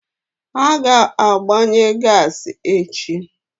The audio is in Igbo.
Ha ga-ejuputa gasi echi.